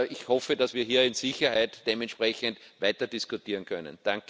Ich hoffe, dass wir hier in Sicherheit dementsprechend weiter diskutieren können.